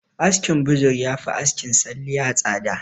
Askin buzur yafi askin salliya tsada